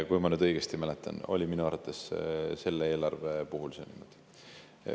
Kui ma õigesti mäletan, siis minu arvates oli selle eelarve puhul see niimoodi.